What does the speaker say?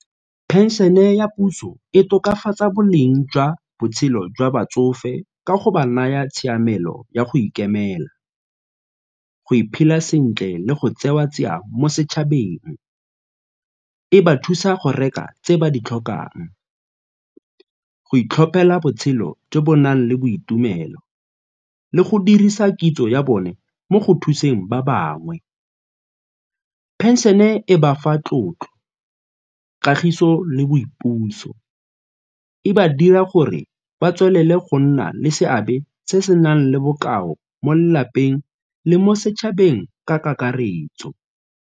Phenšene ya puso e tokafatsa boleng jwa botshelo jwa batsofe ka go ba naya tshiamelo ya go ikemela, go sentle le go tseiwa tsia mo setšhabeng. E ba thusa go reka tse ba di tlhokang, go itlhophela botshelo jo bo nang le boitumelo le go dirisa kitso ya bone mo go thuseng ba bangwe. Phenšene e bafa tlotlo, kagiso le boipuso, e ba dira gore ba tswelele go nna le seabe se se nang le bokao mo lelapeng le mo setšhabeng ka kakaretso.